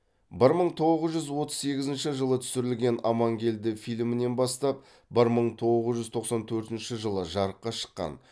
бір мың тоғыз жүз отыз сегізінші жылы түсірілген амангелді фильмінен бастап бір мың тоғыз жүз тоқсан төртінші жылы жарыққа шыққан